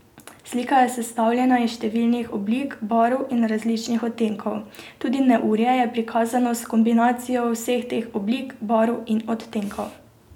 Slika je sestavljena iz številnih oblik, barv in različnih odtenkov, tudi neurje je prikazano s kombinacijo vseh teh oblik, barv in odtenkov.